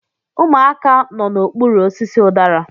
Ụmụaka nọ n'okpuru osisi udara